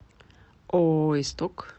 ооо исток